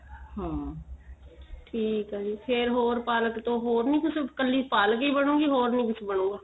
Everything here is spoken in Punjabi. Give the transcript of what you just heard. ਹਾਂ ਠੀਕ ਏ ਜੀ ਫੇਰ ਹੋਰ ਪਾਲਕ ਤੋਂ ਹੋਰ ਨੀਂ ਕੁੱਝ ਕੱਲੀ ਪਾਲਕ ਈ ਬਣੁ ਗੀ ਹੋਰ ਨੀਂ ਕੁੱਝ ਬਣੁ ਗਾ